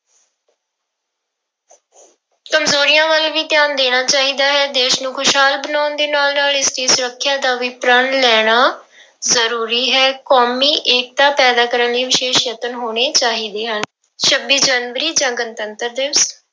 ਕੰਮਜ਼ੋਰੀਆਂ ਵੱਲ ਵੀ ਧਿਆਨ ਦੇਣਾ ਚਾਹੀਦਾ ਹੈ, ਦੇਸ ਨੂੰ ਖ਼ੁਸ਼ਹਾਲ ਬਣਾਉਣ ਦੇ ਨਾਲ ਨਾਲ ਇਸਦੀ ਸੁਰੱਖਿਆ ਦਾ ਵੀ ਪ੍ਰਣ ਲੈਣਾ ਜ਼ਰੂਰੀ ਹੈ ਕੌਮੀ ਏਕਤਾ ਪੈਦਾ ਕਰਨ ਲਈ ਵਿਸ਼ੇਸ਼ ਯਤਨ ਹੋਣੇ ਚਾਹੀਦੇ ਹਨ, ਛੱਬੀ ਜਨਵਰੀ ਜਾਂ ਗਣਤੰਤਰ ਦਿਵਸ